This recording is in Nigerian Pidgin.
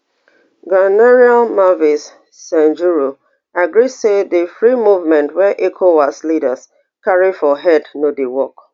ghanaian marvis sejuro agree say di free movement wey ecowas leaders carry for head no dey work